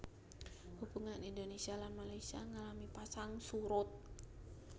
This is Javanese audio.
Hubungan Indonésia lan Malaysia ngalami pasang surut